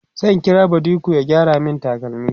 zan kira badiko ya gyara min takalmi